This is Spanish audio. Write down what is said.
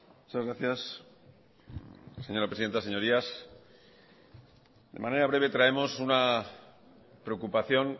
muchas gracias señora presidenta señorías de manera breve traemos una preocupación